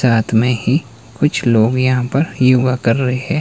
रात में ही कुछ लोग यहां पर योगा कर रहें--